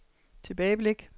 tilbageblik